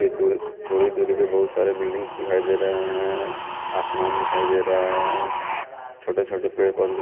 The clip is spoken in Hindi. थोड़ी दूरी पे बहुत सारे बिल्डिंग्स दिखाई दे रहे हैं आसमान दिखाई दे रहा है छोटे छोटे पेड़ पौधे--